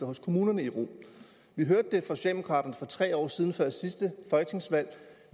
hos kommunerne i ro vi hørte fra socialdemokraterne for tre år siden før sidste folketingsvalg